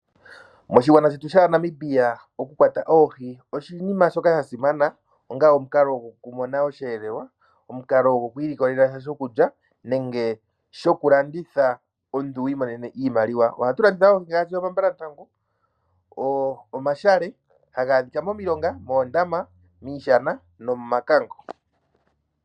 Moshigwana shetu shaa Namibia oku kwata oohi oshinima shoka sha simana onga omukalo goku mona oshelelwa omukalo goku ilikolela sha shokulya nenge shoku landitha omuntu wi monene iimaliwa ohatu landitha oohi ngaashi omambalantangu omashale haga dhika momilonga moondama miishana nomomakango.